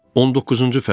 19-cu fəsil.